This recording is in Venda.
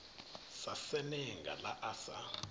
sa senenga ḽa a sa